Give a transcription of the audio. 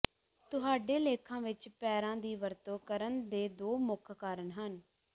ਤੁਹਾਡੇ ਲੇਖਾਂ ਵਿੱਚ ਪੈਰਾ ਦੀ ਵਰਤੋਂ ਕਰਨ ਦੇ ਦੋ ਮੁੱਖ ਕਾਰਨ ਹਨ